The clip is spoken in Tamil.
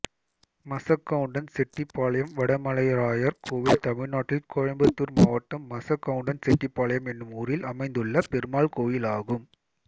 மசக்கவுண்டன் செட்டிபாளையம் வடமலைராயர் கோயில் தமிழ்நாட்டில் கோயம்புத்தூர் மாவட்டம் மசக்கவுண்டன் செட்டிபாளையம் என்னும் ஊரில் அமைந்துள்ள பெருமாள் கோயிலாகும்